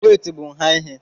wéétị bu nha ihe